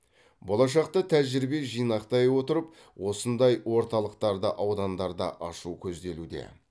болашақта тәжірибе жинақтай отырып осындай орталықтарды аудандарда ашу көзделуде